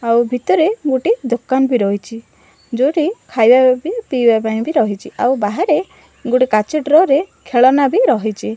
ଆଉ ଭିତରେ ଗୋଟେ ଦୋକାନ ବି ରହିଚି ଯୋଉଠି ଖାଇବା ବି ପିଇବା ପାଇଁ ବି ରହିଚି ଆଉ ବାହାରେ ଗୋଟେ କାଚ ଡ୍ର ରେ ଖେଳନା ବି ରହିଚି ।